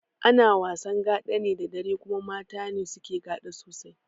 Ana wasan gaɗa ne da dare kuma mata ne suke gaɗa sosai